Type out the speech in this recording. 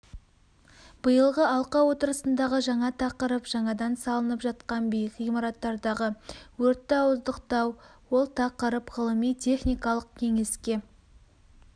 биылғы алқа отырысындағы жаңа тақырып жаңадан салынып жатқан биік ғимараттардағы өртті ауыздықтау ол тақырып ғылыми-техникалық кеңеске